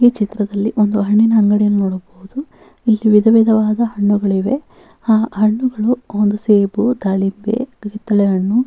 ಈ ಚಿತ್ರದಲ್ಲಿ ಒಂದು ಹಣ್ಣಿನ ಅಂಗಡಿಯನ್ನು ನೋಡಬಹುದು ವಿಧ ವಿಧವಾದ ಹಣ್ಣುಗಳಿವೆ ಆ ಹಣ್ಣುಗಳು ಸೇಬು ದಾಳಿಂಬೆ ಕಿತ್ತಳೆ ಹಣ್ಣು --